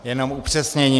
Jenom upřesnění.